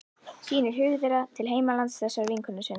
Sýnir hug þeirra til heimalands þessarar vinkonu sinnar.